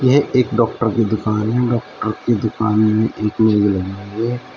यह एक डॉक्टर की दुकान है। डॉक्टर की दुकान में एक मेज लगी हुई है।